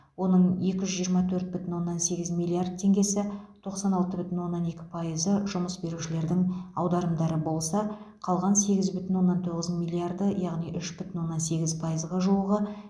оның екі жүз жиырма төрт бүтін оннан сегіз миллиард теңгесі тоқсан алты бүтін оннан екі пайызы жұмыс берушілердің аударымдары болса қалған сегіз бүтін оннан тоғыз миллиарды яғни үш бүтін оннан сегіз пайызға жуығы